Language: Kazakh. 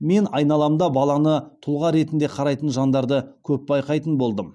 мен айналамда баланы тұлға ретінде қарайтын жандарды көп байқайтын болдым